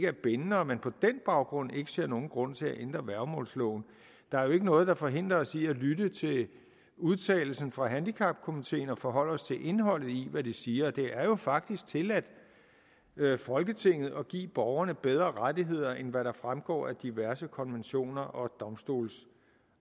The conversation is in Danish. er bindende og at man på den baggrund ikke ser nogen grund til at ændre værgemålsloven der er jo ikke noget der forhindrer os i at lytte til udtalelsen fra handicapkomiteen og forholde os til indholdet i hvad de siger det er jo faktisk tilladt folketinget at give borgerne bedre rettigheder end hvad der fremgår af diverse konventioner